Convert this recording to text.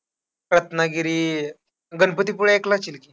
रत्नागिरी, गणपतीपुळे ऐकलं असशील की.